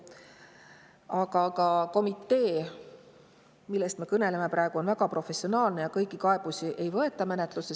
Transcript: Aga komitee, millest me praegu kõneleme, on väga professionaalne ja ei võta kõiki kaebusi menetlusse.